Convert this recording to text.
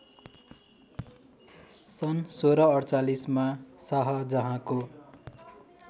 सन् १६४८ मा शाहजहाँको